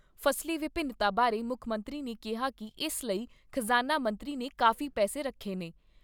ਫਸਲੀ ਵਿੰਭਿਨਤਾ ਬਾਰੇ ਮੁੱਖ ਮੰਤਰੀ ਨੇ ਕਿਹਾ ਕਿ ਇਸ ਲਈ ਖਜ਼ਾਨਾ ਮੰਤਰੀ ਨੇ ਕਾਫ਼ੀ ਪੈਸੇ ਰੱਖੇ ਨੇ।